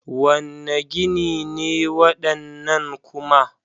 Wane gini ne waɗannan kuma?